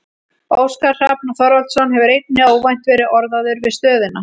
Óskar Hrafn Þorvaldsson hefur einnig óvænt verið orðaður við stöðuna.